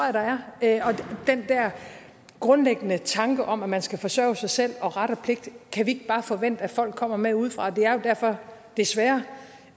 at der er og den her grundlæggende tanke om at man skal forsørge sig selv og ret og pligt kan vi bare forvente at folk kommer med udefra det er jo derfor desværre